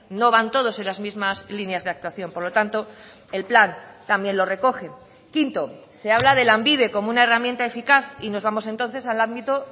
no van todos en las mismas líneas de actuación por lo tanto el plan también lo recoge quinto se habla de lanbide como una herramienta eficaz y nos vamos entonces al ámbito